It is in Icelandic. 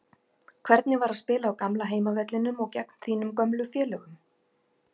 Hvernig var að spila á gamla heimavellinum og gegn þínum gömlu félögum?